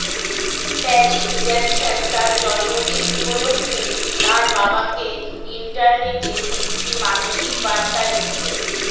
Paris Jackson তার জন্মদিন উপলক্ষে তার বাবাকে ইন্টারনেটে একটি মানসিক বার্তা রেখেছেন